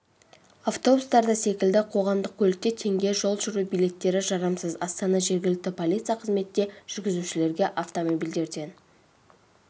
автобустарда секілді қоғамдық көлікте теңге жол жүру билеттері жарамсыз астана жергілікті полиция қызметі жүргізушілерге автомобильдерден